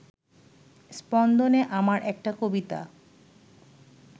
স্পন্দন-এ আমার একটা কবিতা